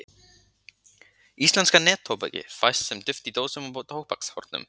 Íslenska neftóbakið fæst sem duft í dósum og tóbakshornum.